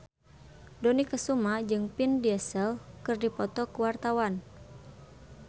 Dony Kesuma jeung Vin Diesel keur dipoto ku wartawan